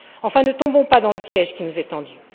Enfin, ne tombons pas dans le piège qui nous est tendu.